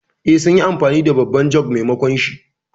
Eh, sun yi amfani da babban jug maimakonshi.